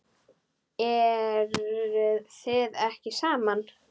Eruð þið ekki saman?